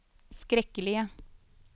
skrekkelige